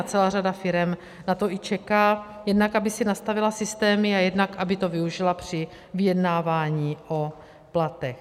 A celá řada firem na to i čeká, jednak aby si nastavila systémy a jednak aby to využila při vyjednávání o platech.